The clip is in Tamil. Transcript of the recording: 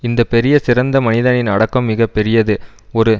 இந்த பெரிய சிறந்த மனிதனின் அடக்கம் மிக பெரியது ஒரு